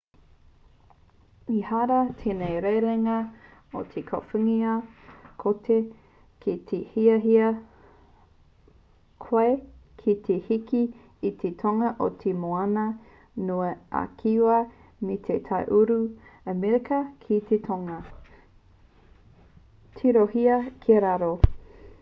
ehara tēnei rerenga i te kōwhiringa kotahi ki te hiahia koe ki te hiki i te tonga o te moana nui a kiwa me te tai uru o amerika ki te tonga. tirohia ki raro